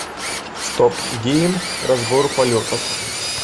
стоп гейм разбор полетов